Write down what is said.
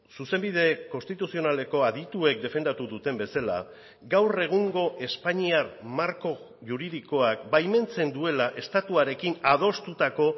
zuzenbide konstituzionaleko adituek defendatu duten bezala gaur egungo espainiar marko juridikoak baimentzen duela estatuarekin adostutako